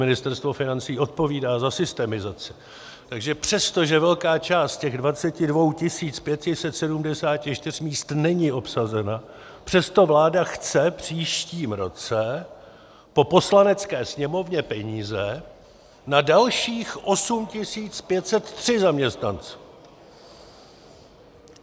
Ministerstvo financí odpovídá za systemizaci - takže přestože velká část z těch 22 574 míst není obsazena, přesto vláda chce v příštím roce po Poslanecké sněmovně peníze na dalších 8 503 zaměstnanců!